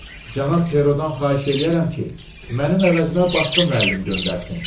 Cənab Perodan xahiş eləyərəm ki, mənim əvəzimə başqa müəllim göndərsin.